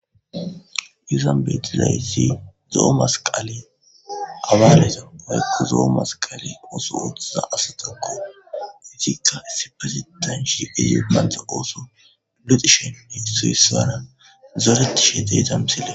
izan beetizaysi zo7o masqale abaaleza woyko zo7o masqale ooso ooththiza asatakko itikka issipazitanshi ize pantha ooso loxishenne suyissanan zoretishe de'iza msile